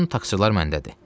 Bütün taxçılar məndədir.